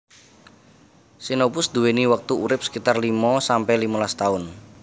Xenopus duwéni wektu urip sekitar limo sampe limolas taun